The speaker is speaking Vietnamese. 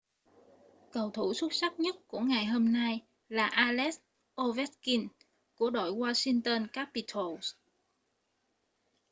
cầu thủ xuất sắc nhất của ngày hôm nay là alex ovechkin của đội washington capitals